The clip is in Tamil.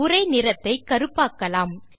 உரை நிறத்தை கருப்பாக்கலாம்